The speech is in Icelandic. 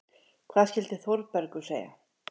Hvað skyldi Þórbergur segja?